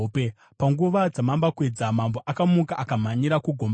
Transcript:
Panguva dzamambakwedza, mambo akamuka akamhanyira kugomba reshumba.